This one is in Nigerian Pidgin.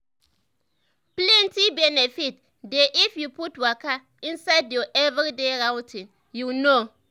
plenty benefit dey if you put waka inside your everyday routine you know.